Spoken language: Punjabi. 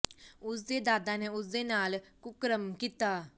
ਉਸ ਦੇ ਦਾਦਾ ਨੇ ਉਸ ਦੇ ਨਾਲ ਕੁਕਰਮ ਕੀਤਾ